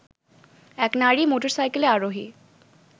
এক নারী মোটরসাইকেল আরোহী